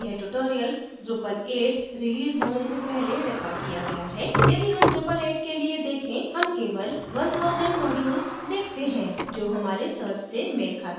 यह tutorial drupal 8 release होने से पहले recorded किया गया है यदि हम drupal 8 के लिए देखें हम केवल 1000 modules देखते हैं जो हमारे सर्च से मेल खाता है